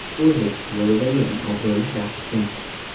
O‘zbek futbolidagi eng obro‘li shaxs kim?